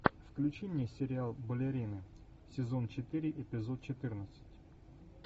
включи мне сериал балерины сезон четыре эпизод четырнадцать